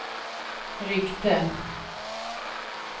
ryckte